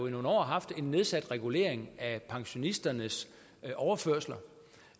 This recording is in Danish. i nogle år har haft en nedsat regulering af pensionisternes overførsler